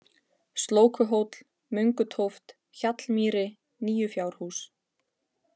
Slókuhóll, Möngutóft, Hjallmýri, Nýjufjárhús